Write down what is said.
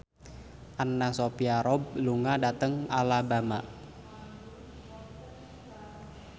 Anna Sophia Robb lunga dhateng Alabama